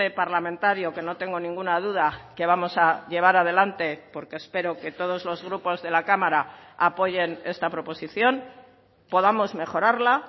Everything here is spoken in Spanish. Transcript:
parlamentario que no tengo ninguna duda que vamos a llevar adelante porque espero que todos los grupos de la cámara apoyen esta proposición podamos mejorarla